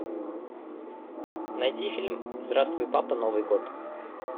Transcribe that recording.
найди фильм здравствуй папа новый год